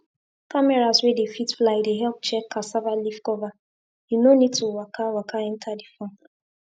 cameras wey dey fit fly dey help check cassava leaf cover you no need to waka waka enter the farm